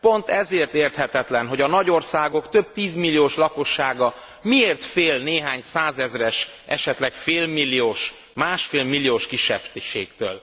Pont ezért érthetetlen, hogy a nagy országok több tízmilliós lakossága miért fél néhány százezres, esetleg félmilliós, másfélmilliós kisebbségtől.